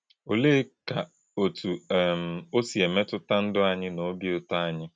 Olè̄èkà̄ òtú̄ um ó sị̄ èmètù̄tà̄ ndú̄ ànyị̄ na òbì̄ ụ̀tọ̀̄ ànyị̄?